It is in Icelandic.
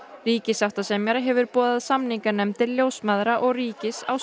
ríkissáttasemjari hefur boðað samninganefndir ljósmæðra og ríkis á